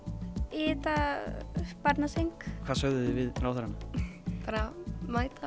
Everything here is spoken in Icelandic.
í þetta barnaþing hvað sögðuð þið við ráðherrana bara mæta